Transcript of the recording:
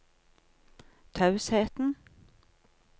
tausheten